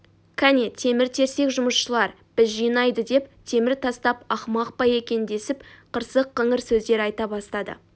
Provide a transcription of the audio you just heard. кәне темір-терсек жұмысшылар біз жинайды деп темір тастап ақымақ па екен десіп қырсық-қыңыр сөздер айта бастады